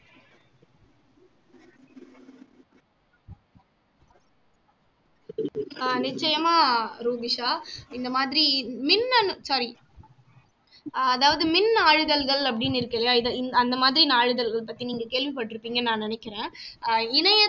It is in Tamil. ஆஹ் நிச்சயமா ரூபிஷா இந்த மாதிரி மின்னணு sorry ஆஹ் அதாவது மின் நாளிதழ்கள் அப்படின்னு இருக்குல்ல இது அந்த மாதிரி நாளிதழ்கள் பத்தி நீங்க கேள்விபட்டிருப்பீங்கன்னு நான் நினைக்கிறேன் ஆஹ் இணைய